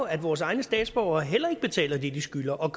at vores egne statsborgere heller ikke betaler det de skylder og